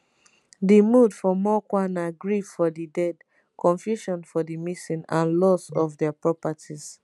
di mood for mokwa na grief for di dead confusion for di missing and loss of dia properties